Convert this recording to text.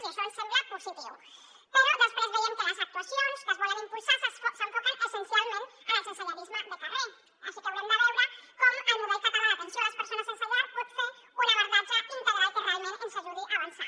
i això ens sembla positiu però després veiem que les actuacions que es volen impulsar s’enfoquen essencial ment al sensellarisme de carrer així que haurem de veure com el model català d’atenció a les persones sense llar pot fer un abordatge integral que realment ens ajudi a avançar